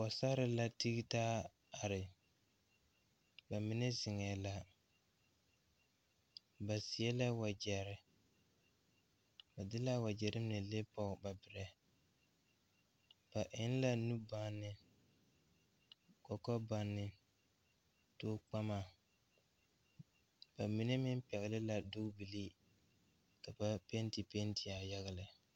Pɔɔsarre la tigetaa are ba mine zeŋɛɛ la ba seɛ la wagyɛrre ba. de kaa wagyɛrre mine le pɔge ba birɛ ba eŋ la nubɔnne kɔkɔbɔnne tookpama ba mine meŋ pɛgle la dugbilii ka ba penti pentiaa yaga lɛ.